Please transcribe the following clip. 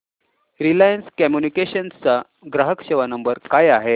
Reliance communications चा ग्राहक सेवा नंबर काय आहे